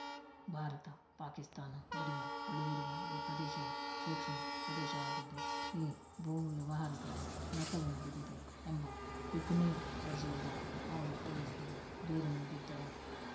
ಭಾರತಪಾಕಿಸ್ತಾನ ಗಡಿಯ ಬಳಿಯಿರುವ ಈ ಪ್ರದೇಶವು ಸೂಕ್ಷ್ಮ ಪ್ರದೇಶವಾಗಿದ್ದು ಈ ಭೂ ವ್ಯವಹಾರದಲ್ಲಿ ನಕಲು ನಡೆದಿದೆ ಎಂಬ ಬಿಕನೇರ್‌ ತಹಸೀಲ್ದಾರ್‌ ಅವರು ಪೊಲೀಸರಿಗೆ ದೂರು ನೀಡಿದ್ದರು